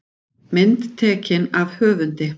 Mynd tekin af höfundi.